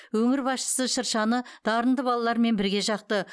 өңір басшысы шыршаны дарынды балалармен бірге жақты